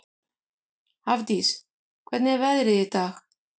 Hafdís, hvernig er veðrið í dag?